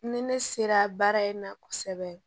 Ni ne sera baara in na kosɛbɛ